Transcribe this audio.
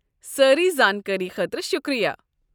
سٲرٕے زانٛکٲری خٲطرٕ شُکریہ۔